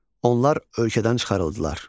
Onlar ölkədən çıxarıldılar.